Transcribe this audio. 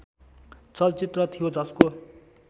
चलचित्र थियो जसको